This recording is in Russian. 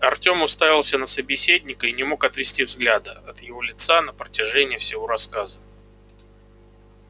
артём уставился на собеседника и не мог отвести взгляда от его лица на протяжении всего рассказа